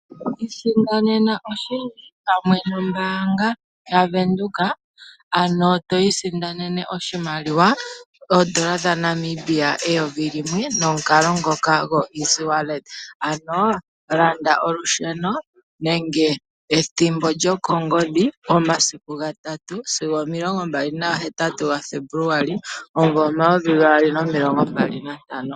Iisindanena oshindji pamwe nombaanga yaWindhoek, ano twiisindanene oshimaliwa oondola dhaNamibia 1000 nomukalo ngoka go EasyWallet ano landa olusheno nenge ethimbo lyokongodhi momasiku 3 sigo 28 ga Febuluali 2025.